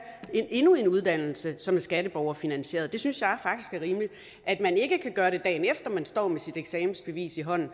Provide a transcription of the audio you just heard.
endnu en uddannelse som er skatteborgerfinansieret det synes jeg faktisk er rimeligt at man ikke kan gøre det dagen efter man står med sit eksamensbevis i hånden